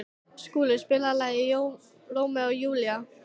Skúla, spilaðu lagið „Rómeó og Júlía“.